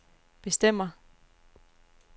bestemmer